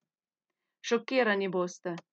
Šokirani boste!